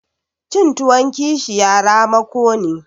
Cin tuwon kishiya ramako ne.